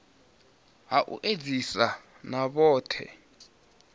ha u edzisa na vhohe